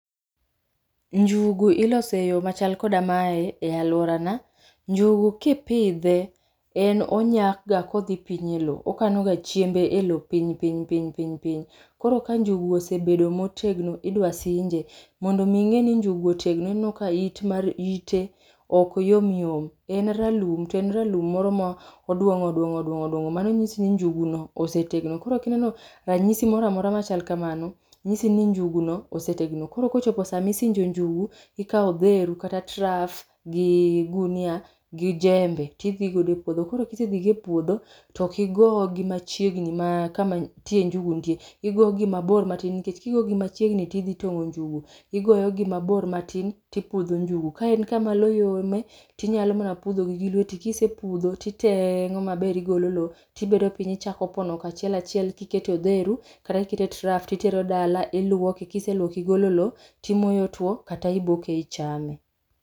Njugu iloso eyo machal koda mae e aluorana . Njugu kipidhe, en onyakga kodhi piny elowo. Okanoga chiembe elowo piny piny piny piny, piny. Koro ka njugu osebet motegno idwa sinje. Mondo mi ing'e ni njugu otegno, ineno ka it mar ite ok yom yom. En ralum to en ralum moro ma oduong'o oduong'o oduong'o oduong'o. Mano nyisi ni njuguno osetegno. Koro kineno ranyisi moro amora machal kamano, nyisi ni njuguno osetegno koro ka ochopo sama isinjo njugu, ikawo odheru, kata traf gi ogunia gi jembe. To idhigo epuodho, koro ka isedhigo epuodho to ok igogi machiegni gi kama tie njugu nitie, igogi mabor matin nikech kigogi machiegni to idhi tong'o njugu. Igoyogi mabor matin to ipudho njugu. Ka en kama lowo yomie to inyalo mana pudhogi gi lweti. Kisepudho to iteng'o maber igolo lowo, to ibedo piny ichako pono kachiel achiel kiketo e odheru kata kiketo e traf to itero dala, to iluoke. Ka iseluoke igolo lowo to imoye otuo kata iboke ichame..